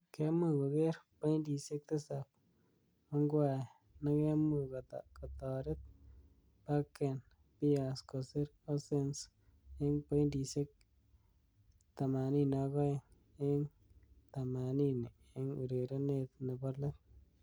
Kemuch koker pointishek tisab Ongwae nekemuch kotaret Bakken Bears kosir Horsens eng pointishek 82 eng 80 eng urerenet nebo let.